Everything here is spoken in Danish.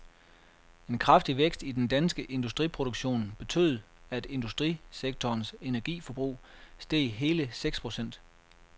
En kraftig vækst i den danske industriproduktion betød, at industrisektorens energiforbrug steg hele seks procent.